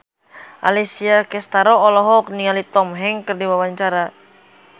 Alessia Cestaro olohok ningali Tom Hanks keur diwawancara